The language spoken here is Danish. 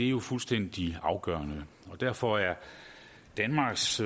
jo fuldstændig afgørende derfor er danmarks